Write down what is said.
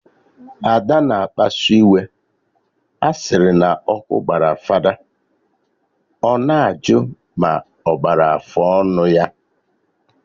Ada na akpasu iwe, a sịrị na ọkụ gbara fada, ọ na ajụ ma ọ gbara afụ ọnụ ya